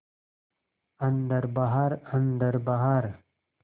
अन्दर बाहर अन्दर बाहर